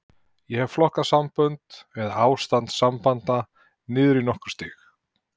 Ég hef flokkað sambönd, eða ástand sambanda, niður í nokkur stig.